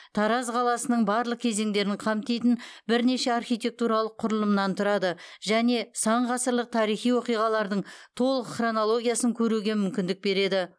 тараз қаласының барлық кезеңдерін қамтитын бірнеше архитектуралық құрылымнан тұрады және сан ғасырлық тарихи оқиғалардың толық хронологиясын көруге мүмкіндік береді